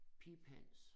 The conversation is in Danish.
Piphans